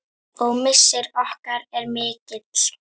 Og missir okkar er mikill.